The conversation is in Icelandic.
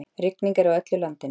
Rigning er á öllu landinu